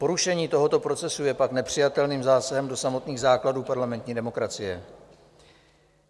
Porušení tohoto procesu je pak nepřijatelným zásahem do samotných základů parlamentní demokracie.